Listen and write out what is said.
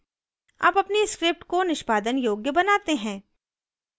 अब अपनी script को निष्पादन योग्य बनाते हैं